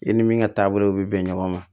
I ni min ka taabolo bɛ bɛn ɲɔgɔn ma